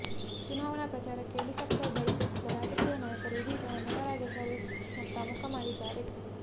ಚುನಾವಣೆ ಪ್ರಚಾರಕ್ಕೆ ಹೆಲಿಕಾಫ್ಟರ್ ಬಳುಸುತ್ತಿದ್ದ ರಾಜಕೀಯ ನಾಯಕರು ಇದೀಗ ನಟರಾಜ ಸರ್ವಿಸ್ ನತ್ತ ಮುಖ ಮಾಡಿದ್ದಾರೆ